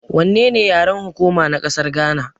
Wannene yaren hukuma na ƙasar Gana.